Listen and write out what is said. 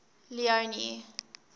leone